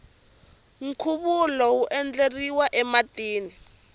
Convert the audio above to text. nkhuvulo wu endleriwa ematini